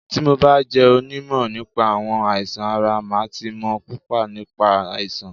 Tí mo bá jẹ́ onímọ̀ nípa àwọn àìsàn ara, màá ti mọ̀ púpò nípa àìsàn.